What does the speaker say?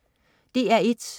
DR1: